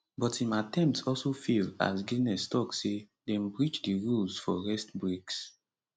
but im attempt also fail as guinness tok say dem breach di rules for rest breaks